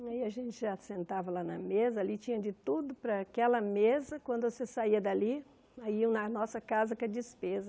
E aí a gente já sentava lá na mesa, ali tinha de tudo para aquela mesa, quando você saía dali, aí iam na nossa casa com a despesa.